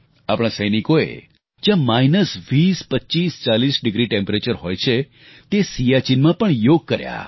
આપણા સૈનિકોએ જ્યાં માઈનસ 20 25 40 ડીગ્રી તાપમાન હોય છે તે સિયાચીનમાં પણ યોગ કર્યા